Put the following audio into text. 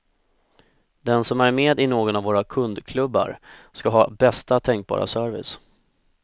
Den som är med i någon av våra kundklubbar ska ha bästa tänkbara service.